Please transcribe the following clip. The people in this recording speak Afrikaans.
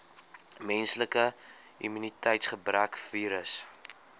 menslike immuniteitsgebrekvirus